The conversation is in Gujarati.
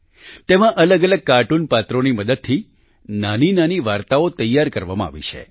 તેમાં અલગઅલગ કાર્ટૂન પાત્રોની મદદથી નાનીનાની વાર્તાઓ તૈયાર કરવામાં આવી છે